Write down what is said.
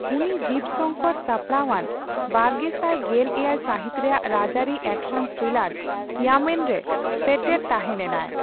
ᱩᱱᱤ ᱡᱤᱵᱽ ᱥᱚᱝᱠᱚᱨ ᱥᱟᱯᱲᱟᱣᱟᱱ ᱵᱟᱨᱜᱮᱥᱟᱭ ᱜᱮᱞ ᱮᱭᱟᱭ ᱥᱟᱹᱦᱤᱛ ᱨᱮᱭᱟᱜ ᱨᱟᱡᱟᱹᱨᱤ ᱮᱠᱥᱟᱱ ᱛᱷᱨᱤᱞᱟᱨ ᱤᱭᱟᱢᱮᱱᱼᱨᱮ ᱥᱮᱴᱮᱨ ᱛᱟᱦᱮᱸᱞᱮᱱᱟᱭ ᱾